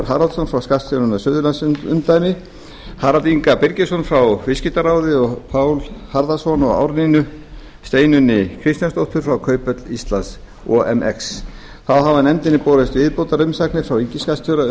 haraldsson frá skattstjóranum í suðurlandsumdæmi harald inga birgisson frá viðskiptaráði og pál harðarson og árnínu steinunni kristjánsdóttur frá kauphöll íslands omx þá hafa nefndinni borist viðbótarumsagnir frá ríkisskattstjóra